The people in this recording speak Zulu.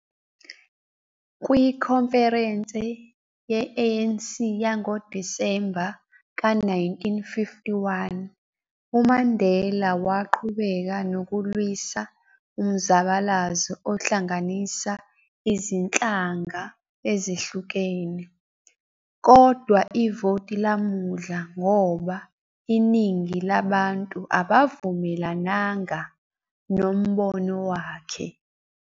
Kwikhonferense ye-ANC yangoDisemba ka-1951, uMandela waqhubeka nokulwisa umzabalazo ohlanganisa izinhlanga ezehlukene, kodwa ivoti lamudla ngoba iningi labantu abavumelananga nombono wakhe.